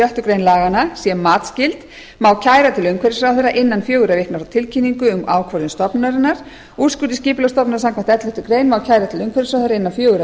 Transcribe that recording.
sjöttu grein laganna sé matsskyld má kæra til umhverfisráðherra innan fjögurra vikna frá tilkynningu um ákvörðun stofnunarinnar úrskurð skipulagsstofnunar samkvæmt elleftu grein má kæra til umhverfisráðherra innan fjögurra vikna frá